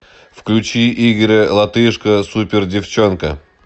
включи игоря латышко супер девчонка